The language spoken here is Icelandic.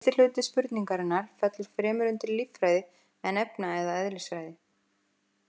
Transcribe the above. Síðasti hluti spurningarinnar fellur fremur undir líffræði en efna- eða eðlisfræði.